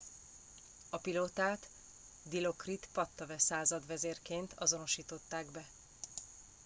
a pilótát dilokrit pattavee századvezérként azonosították be